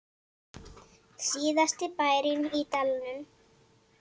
Síðasti bærinn í dalnum